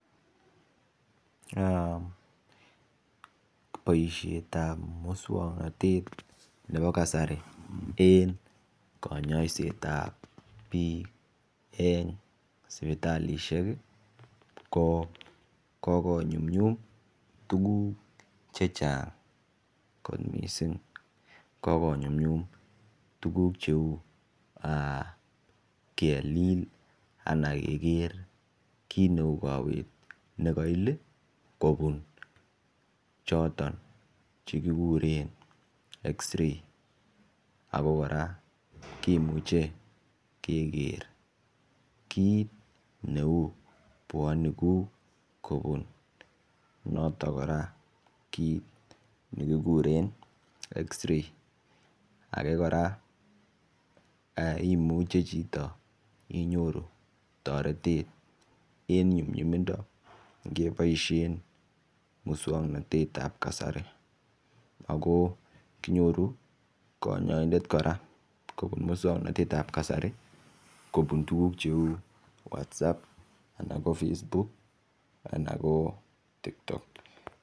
Boishet ap musongnotet nepo kasari eng konyoiset ap biik eng sipitalishek ko konyumnyum tukuk che chang kot mising ko konyumnyum tukuk cheu kelil ana ke keer kiit neu kowet nekail kopun choton chekikuren x-ray ako kora kimuchei keker kiit neu puonik kopun notok kora kiit nekikuren x-ray ake kora imuche chito inyoru toretet eng nyumnyumindo ngeboishen musongnotet ap kasari ako kinyoru kanyaindet kora kobun musongnotet ap kasari kopun tukuk cheu whatsup anan ko Facebook anan ko TikTok